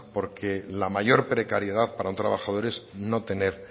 porque la mayor precariedad para un trabajador es no tener